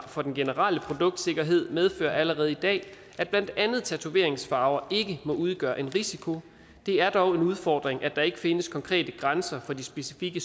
for den generelle produktsikkerhed medfører allerede i dag at blandt andet tatoveringsfarver ikke må udgøre en risiko det er dog en udfordring at der ikke findes konkrete grænser for de specifikke